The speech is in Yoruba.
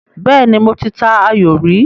Bẹ́ẹ́nì, mo ta ayò rí.